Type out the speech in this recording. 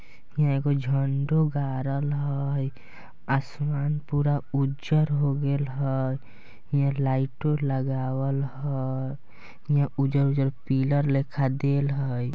इहाँ एगो झंडो गाड़ल हई आसमान पूरा उजर हो गईल हई इहाँ लाइट लगावल हई इहाँ उजर-उजर पिलर लेखा देल हई।